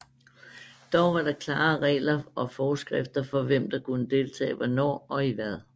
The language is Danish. Dog var der klare regler og forskrifter for hvem der kunne deltage hvornår og i hvad